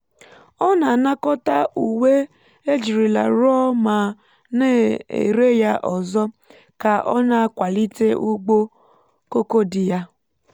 ọ na-anakọta uwe ejirila rụọ ma na-ere ya ọzọ ka ọ na-akwalite ugbo koko di ya